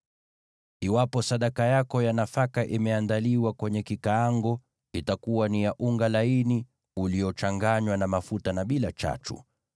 Iwapo sadaka yako ya nafaka imeandaliwa kwenye kikaango, itakuwa ni ya unga laini uliochanganywa na mafuta, bila chachu.